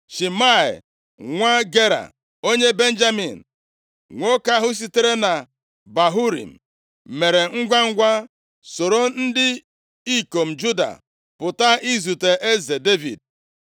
Shimei, nwa Gera, onye Benjamin, nwoke ahụ sitere na Bahurim, mere ngwangwa soro ndị ikom Juda pụta izute eze Devid.